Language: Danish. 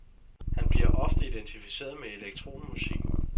Han bliver ofte identificeret med elektronmusikken.